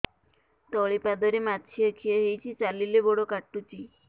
ତଳିପାଦରେ ମାଛିଆ ଖିଆ ହେଇଚି ଚାଲିଲେ ବଡ଼ କାଟୁଚି